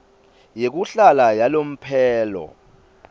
yekuhlala yalomphelo